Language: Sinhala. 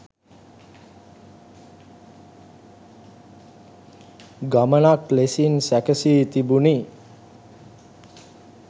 ගමනක් ලෙසින් සැකසී තිබුණි.